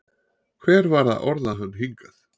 Hver var að orða hann hingað?